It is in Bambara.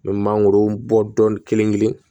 N bɛ mangoro bɔ dɔɔnin kelen kelen